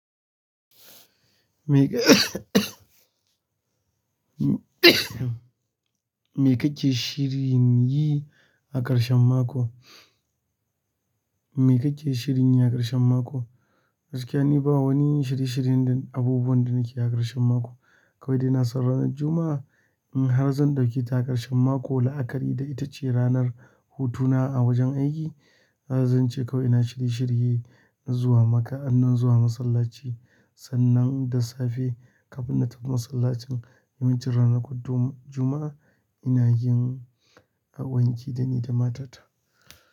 Me kake shirin yi a ƙarshen mako? Me kake shirin yi a ƙarshen mako? Hakika ni ba wani shiriye-shiriyen abubuwan da nake a ƙarshen mako. Kawai dai na san ranar Juma'a, in har zan ɗauki ta a ƙarshen mako la'akari da ita ce ranar hutuna a wajen aiki, zan ce kau ina shiriye-shiriye na zuwa masallaci sannan da safe kafin na tafi masallacin, wa yan can ranakun Juma'a, ina yin wanki da ni da matata.